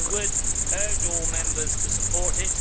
So I would urge all Members to support it.